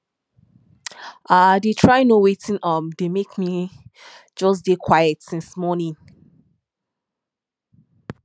i dey try know wetin um dey make me just dey quiet since morning